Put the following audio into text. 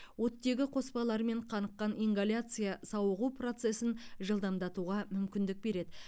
оттегі қоспаларымен қаныққан ингаляция сауығу процесін жылдамдатуға мүмкіндік береді